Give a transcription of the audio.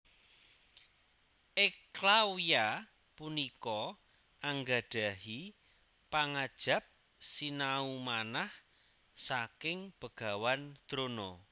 Eklawya punika anggadhahi pangajap sinau manah saking Begawan Drona